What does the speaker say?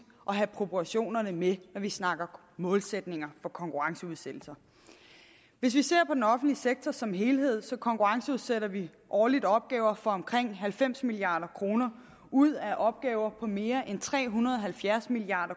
at have proportionerne med når vi snakker målsætninger for konkurrenceudsættelse hvis vi ser på den offentlige sektor som helhed konkurrenceudsætter vi årligt opgaver for omkring halvfems milliard kroner ud af opgaver på mere end tre hundrede og halvfjerds milliard